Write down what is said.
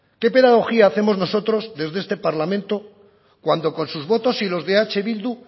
qué pedagogía hacemos nosotros desde este parlamento cuando con sus votos y los de eh bildu